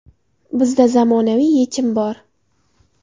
Bizda zamonaviy yechim bor!